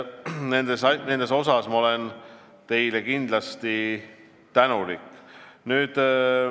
Selle eest olen ma teile kindlasti tänulik.